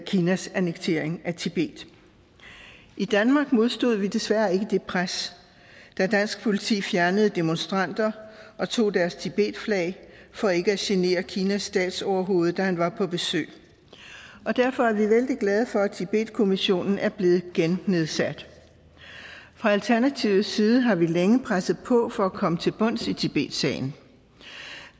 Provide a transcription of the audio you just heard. kinas annektering af tibet i danmark modstod vi desværre ikke det pres da dansk politi fjernede demonstranter og tog deres tibetflag for ikke at genere kinas statsoverhoved da han var på besøg derfor er vi vældig glade for at tibetkommissionen er blevet gennedsat fra alternativets side har vi længe presset på for at komme til bunds i tibetsagen